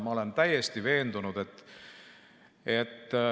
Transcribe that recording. Ma olen täiesti veendunud ...